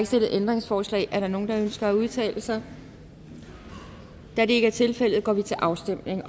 stillet ændringsforslag er der nogen der ønsker at udtale sig da det ikke er tilfældet går vi til afstemning